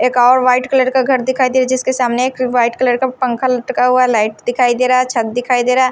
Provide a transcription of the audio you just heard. एक और white colour का घर दिखाई दे जिसके सामने एक व्हाइट कलर का पंखा लटका हुआ है लाइट दिखाई दे रहा है छत दिखाई दे रहा है।